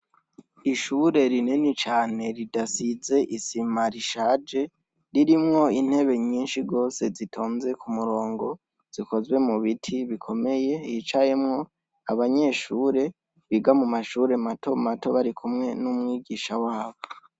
Ishuri rinini cane ridasize isima rishaje ririmwo intebe nyinshi gose zitonze ku murongo zikozwe mu biti bukomeye hicayemwo abanyeshure biga mu mashure matomato barikumwe n'umwigisha wabo.